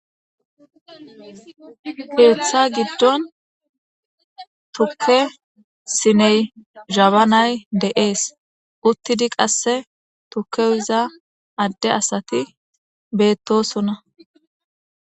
keeththa giddon thuke siney jabanay de7ees uttidi qasse tukewuza adde asati beettosona.